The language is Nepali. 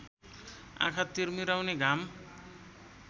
आँखा तिरमिराउने घाम